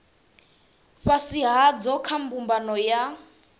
fhasi hadzo kha mbumbano ya